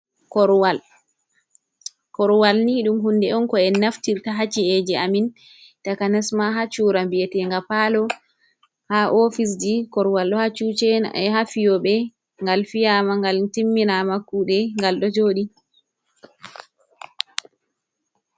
Koruwal. Koruwal ni ɗum hunde on ko en naftirta haa ci’eje amin taka nasma ha chura biyete ga palo, ha ofisji. Koruwal ɗo ha cuche ha fiyobe, ngal fiyama ngal timminama kuɗe gal ɗo joɗi.